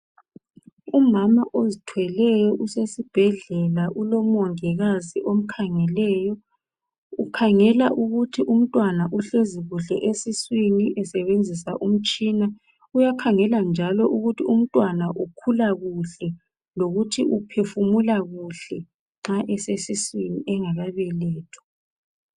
Umama ozithweleyo usesibhedlela ulomongikazi omkhangeleyo. Ukhangela ukuthi umntwana uhlezi kuhle esiswini esebenzisa umtshina, uyakhangela njalo ukuthi umntwana ukhula kuhle lokuthi uphefumula kuhle nxa esesiswini engakabelethwa.